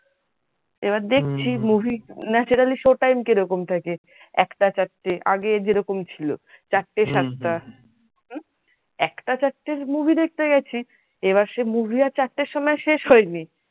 এবার দেখছি movienaturallyshow time কিরকম থাকে একটা চারটে আগে যেরকম ছিল চারটে সাতটা একটা চারটের movie দেখতে গেছি এবার সে movie আর চারটের সময় শেষ হয়নি।